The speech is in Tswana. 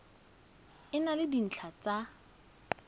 e na le dintlha tsa